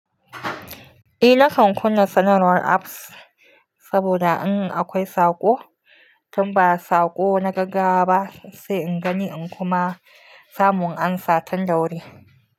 Eh nakan kunna sanarwar apps saboda an akwai saƙo, tun ba saƙo na gaggawa ba sai in gani in kuma samu in amsa tun da wuri.